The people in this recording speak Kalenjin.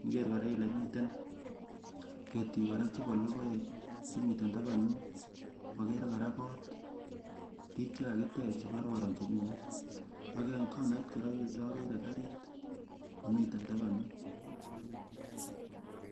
iniker kora ile miten ketik kora chepo logoek chemiten tapan yun ,akere kora kot korik chekakitech chekoron chemi yun, ak en konait kora aker karit nemiten tapan yun.